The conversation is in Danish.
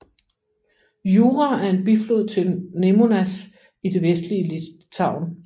Jūra er en biflod til Nemunas i det vestlige Litauen